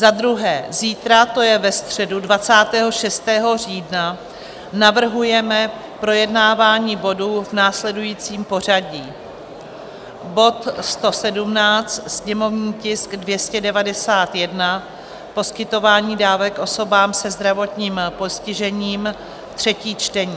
Za druhé, zítra, to je ve středu 26. října, navrhujeme projednávání bodů v následujícím pořadí: bod 117, sněmovní tisk 291, poskytování dávek osobám se zdravotním postižením, třetí čtení;